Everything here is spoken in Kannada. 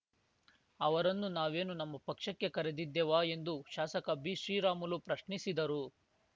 ಅವರನ್ನು ನಾವೇನು ನಮ್ಮ ಪಕ್ಷಕ್ಕೆ ಕರೆದಿದ್ದೆವಾ ಎಂದು ಶಾಸಕ ಬಿಶ್ರೀರಾಮುಲು ಪ್ರಶ್ನಿಸಿದರು